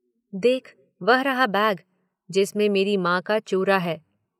देख वह रहा बैग जिसमें मेरी माँ का चूरा है।